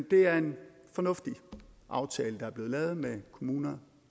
det er en fornuftig aftale der er blevet lavet med kommunerne